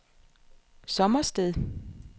Sommersted